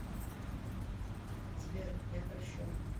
сбер я польщен